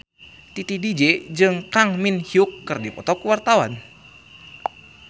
Titi DJ jeung Kang Min Hyuk keur dipoto ku wartawan